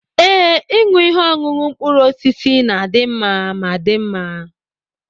Ee, ịṅụ ihe ọṅụṅụ mkpụrụ osisi na-adị mma ma dị mma.